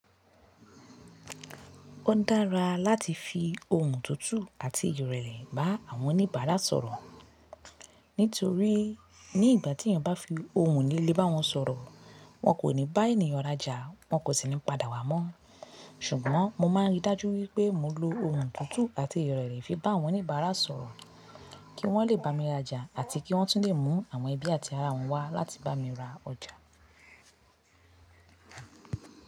Ó dára láti fi ohùn tútù àti ìrẹ̀lẹ̀ bá àwọn oníbàárà sọ̀rọ̀. Nítorí ní ìgbà tí èyàn bá fi ohùn líle bá wọn sọ̀rọ̀, wọn kò ní bá ènìyàn raja, wọn kò sì ní padà wá mọ́. Ṣùgbọ́n mo máa ń rí i dájú wípé mo lo ohùn tútù àti ìrẹ̀lẹ̀ fi bá àwọn oníbàárà sọ̀rọ̀, kí wọ́n lè bá mi raja àti kí wọ́n tún lè mú àwọn ẹbí àti ará wọn wá láti bá mi ra ọjà.